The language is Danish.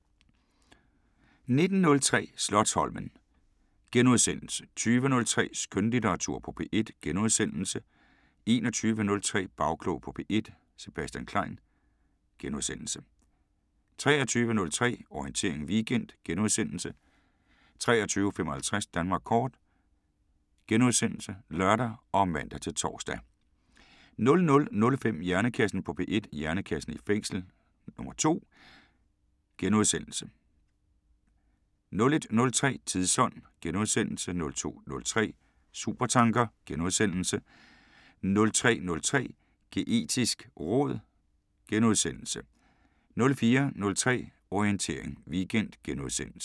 19:03: Slotsholmen * 20:03: Skønlitteratur på P1 * 21:03: Bagklog på P1: Sebastian Klein * 23:03: Orientering Weekend * 23:55: Danmark kort *(lør og man-tor) 00:05: Hjernekassen på P1: Hjernekassen i fængsel 2 * 01:03: Tidsånd * 02:03: Supertanker * 03:03: Geetisk råd * 04:03: Orientering Weekend *